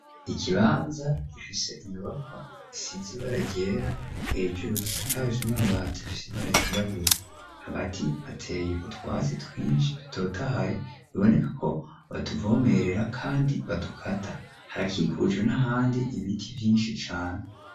Ikibanza gifise inyubakwa isizi baragyera hejuru risakaje n'ababate fisi baragirabura agati hateye utwatsi twinshi dutotahaye biboneka ko baduvomerera, kandi badukata harakikujwe n'ahandi ibiti vyinshi cane.